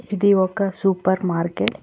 ఇది ఒక super market .